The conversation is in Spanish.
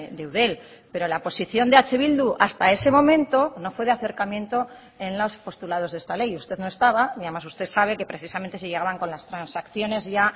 de eudel pero la posición de eh bildu hasta ese momento no fue de acercamiento en los postulados de esta ley usted no estaba y además usted sabe que precisamente se llegaban con las transacciones ya